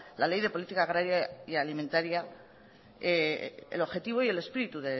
la ley de política agraria y alimentaria el objetivo y el espíritu